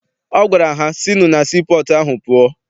Ọ gwara ha, sinụ na sii pọọtụ ahụ pụọ!